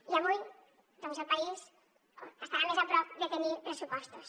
i avui doncs el país estarà més a prop de tenir pressupostos